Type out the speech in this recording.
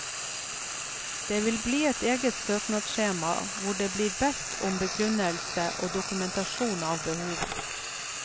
Det vi bli et eget søknadsskjema hvor det blir bedt om begrunnelse og dokumentasjon av behovet.